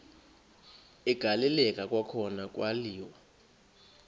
agaleleka kwakhona kwaliwa